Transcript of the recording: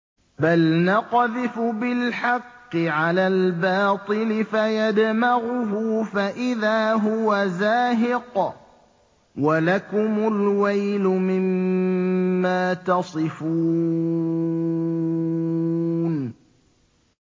بَلْ نَقْذِفُ بِالْحَقِّ عَلَى الْبَاطِلِ فَيَدْمَغُهُ فَإِذَا هُوَ زَاهِقٌ ۚ وَلَكُمُ الْوَيْلُ مِمَّا تَصِفُونَ